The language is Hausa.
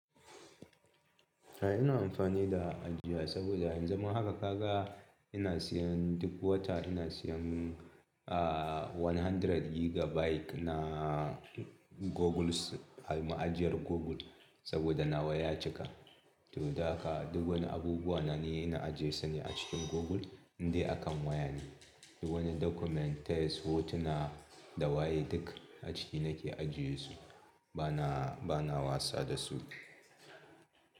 Ai ina amfani da ai saboda yanzu haka ka ga ina siyan duk wata ina siyan, ah one hundred gigabyte ina Google a ma'ajiyar Google saboda na waya cika. To da haka duk wani abubuwa ni ina ajiye su ne akan google idai akan waya ne. Duk wani documentes, text, hotuna da waye duk a ciki nake ajiye su bana, bana wasa dasu.